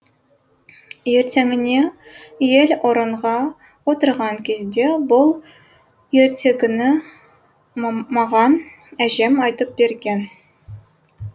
ертеңіне ел орынға отырған кезде бұл ертегіні маған әжем айтып берген